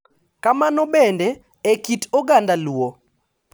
Kamano bende, e kit oganda luo, .